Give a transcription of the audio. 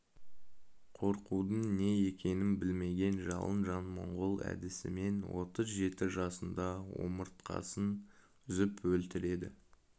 қорқудың не екенін білмеген жалын жан монғол әдісімен отыз жеті жасында омыртқасын үзіп өлтіреді